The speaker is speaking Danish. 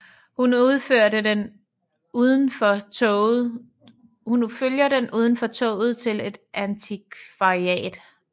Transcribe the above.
Hun følger den udenfor toget til et antikvariat